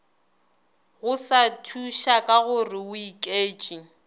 go sa thušakagore o iketš